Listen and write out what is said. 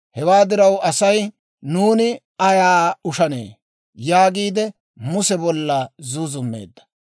Hewaa diraw, asay, «Nuuni ayaa ushanee?» yaagiide Muse bolla zuuzummeedda.